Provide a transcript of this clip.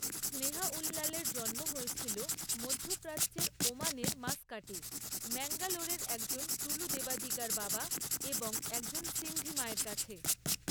স্নেহা উল্লালের হয়েছিল জন্ম মধ্যপ্রাচ্যের ওমানের মাস্কাটে, ম্যাঙ্গালোরের একজন টুলু দেবাদিগার বাবা এবং একজন সিন্ধি মায়ের কাছে।